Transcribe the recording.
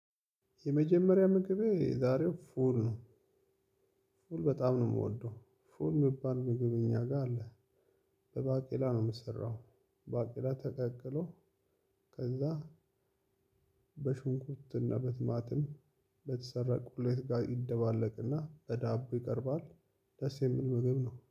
የመጀመሪያ ምግቤ የዛሬው ፉል ነው። ፉል በጣም ነው የምወደው። ፉል የሚባል ምግብ እኛ ጋ አለ። በባቄላ ነው የሚሰራው። ባቄላ ተቀቅሎ ከዛ በሽንኩርትና በቲማቲም በተሰራ ቁሌት ጋር ይደባለቅና በዳቦ ይቀርባል። ደስ የሚል ምግብ ነው።